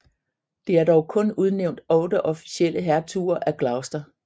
Det er dog kun udnævnt otte officielle hertuger af Gloucester